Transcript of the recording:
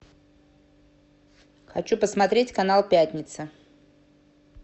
хочу посмотреть канал пятница